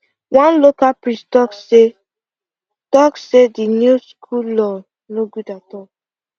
one local priest talk say talk say the new school law no good at all